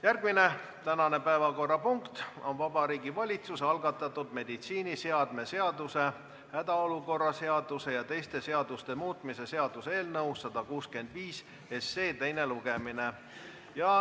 Järgmine päevakorrapunkt on Vabariigi Valitsuse algatatud meditsiiniseadme seaduse, hädaolukorra seaduse ja teiste seaduste muutmise seaduse eelnõu 165 teine lugemine.